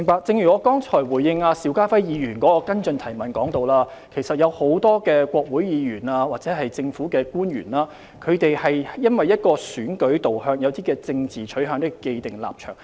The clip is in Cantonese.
正如我剛才回應邵家輝議員的補充質詢時提到，其實很多國會議員或政府官員基於選舉導向及政治取向而有既定立場。